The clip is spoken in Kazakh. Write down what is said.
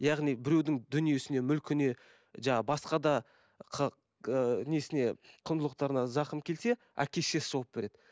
яғни біреудің дүниесіне мүлкіне жаңағы басқа да ыыы несіне құндылықтарына зақым келсе әке шешесі жауап береді